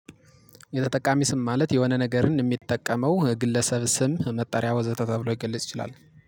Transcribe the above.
የተጠቃሚ ስም ማለት የሆነ ነገርን የሚጠቀመው ግለሰብ ስም መጠሪያ ወዘተ ተብሎ ይገለጽ ይችላል